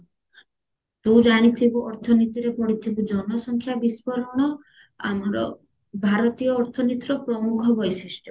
ତୁ ଜାଣିଥିବୁ ଅର୍ଥନୀତିରେ ପଢିଥିବୁ ଜନ ସଂଖ୍ୟା ବିସ୍ଫୋରଣ ଆମର ଭାରତୀୟ ଅର୍ଥନୀତିର ପ୍ରମୁଖ ବୈଶିଷ୍ଟ